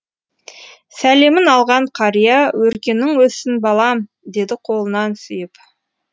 сәлемін алған қария өркенің өссін балам деді қолынан сүйіп